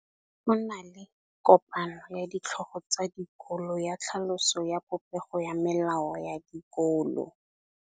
Go na le kopanô ya ditlhogo tsa dikolo ya tlhaloso ya popêgô ya melao ya dikolo.